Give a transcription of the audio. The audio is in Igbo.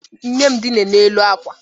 Nne m dina n'elu akwa.